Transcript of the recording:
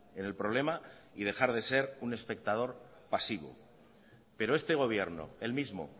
en el problema y dejar de ser un espectador pasivo pero este gobierno el mismo